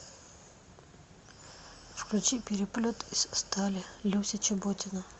включи переплет из стали люся чеботина